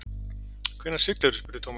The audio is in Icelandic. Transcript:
Hvenær siglirðu? spurði Thomas.